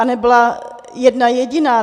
A nebyla jedna jediná.